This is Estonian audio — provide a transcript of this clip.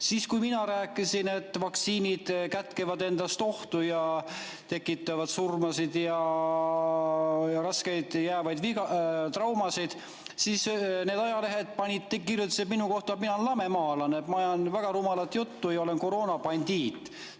Siis, kui mina rääkisin, et vaktsiinid kätkevad endas ohtu ning tekitavad surmasid ja raskeid jäävaid traumasid, kirjutasid need ajalehed minu kohta, et mina olen lamemaalane, ajan väga rumalat juttu ja olen koroonabandiit.